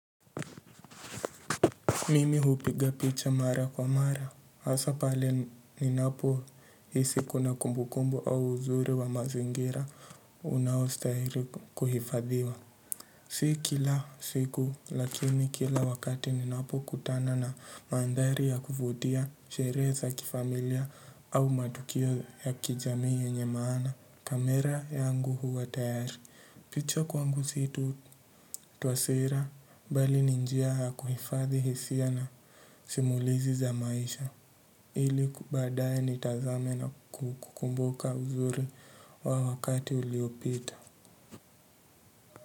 Mimi hupiga picha mara kwa mara, hasaa pale ninapohisi kuna kumbukombu au uzuri wa mazingira unaostahili kuhifadhiwa. Si kila siku lakini kila wakati ninapokutana na mandhari ya kuvutia, sherehe za kifamilia au matukio ya kijamii yenye maana, kamera yangu huwa tayari. Picha kwangu si tu kutoa sira bali ni njia ya kuhifadhi hisia na simulizi za maisha ili baadaye nitazame na kukumbuka uzuri wa wakati uliopita.